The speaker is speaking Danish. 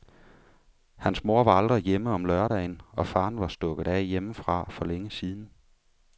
Hans mor var aldrig hjemme om lørdagen og faderen var stukket af hjemmefra for længe siden.